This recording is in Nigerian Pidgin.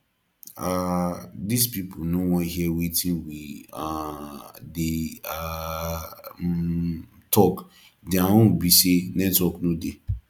um this people no wan hear wetin we um dey um um talk their own be say network no dey